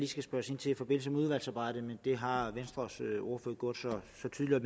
skal spørges ind til i forbindelse med udvalgsarbejdet men det har venstres ordfører så tydeligt